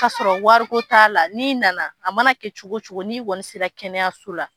Ka sɔrɔ wari ko t'a la . I nana a mana kɛ cogo cogo ni kɔni sela kɛnɛyaso la